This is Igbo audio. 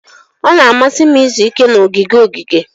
Ọ na-amasị m izu ike na ogige ogige.